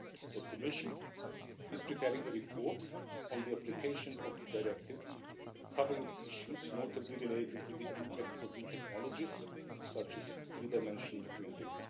The Commission is preparing a report on the application of the Directive, covering issues notably related to the impacts of new technologies such as three dimensional printing.